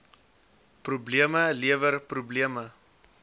probleme lewer probleme